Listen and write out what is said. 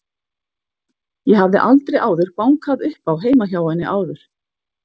Ég hafði aldrei áður bankað upp á heima hjá henni áður.